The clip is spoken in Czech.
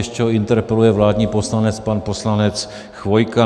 Ještě ho interpeluje vládní poslanec, pan poslanec Chvojka.